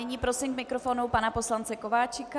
Nyní prosím k mikrofonu pana poslance Kováčika.